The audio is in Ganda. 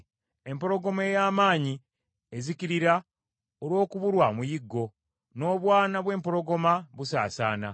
Empologoma ey’amaanyi ezikirira olw’okubulwa omuyiggo, n’obwana bw’empologoma busaasaana.